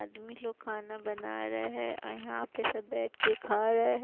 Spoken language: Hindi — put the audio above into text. अदमी लोग खाना बना रहे हैं अ यहां पे सब बैठके खा रहे--